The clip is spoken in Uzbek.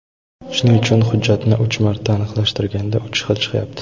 Shuning uchun hujjatni uch marta aniqlashtirishganda uch xil chiqyapti.